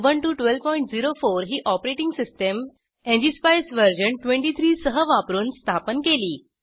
Ubuntu 1204 ही operating system ngspice version 23 सह वापरून स्थापन केली